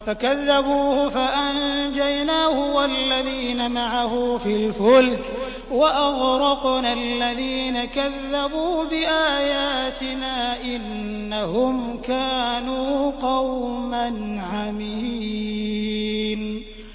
فَكَذَّبُوهُ فَأَنجَيْنَاهُ وَالَّذِينَ مَعَهُ فِي الْفُلْكِ وَأَغْرَقْنَا الَّذِينَ كَذَّبُوا بِآيَاتِنَا ۚ إِنَّهُمْ كَانُوا قَوْمًا عَمِينَ